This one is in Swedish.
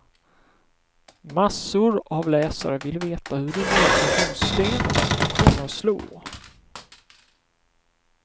Massor av läsare ville veta hur det nya pensionssystemet kommer att slå.